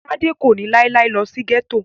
Tádé kò ní láíláí lọ sí gẹ́tò